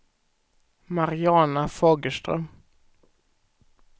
Mariana Fagerström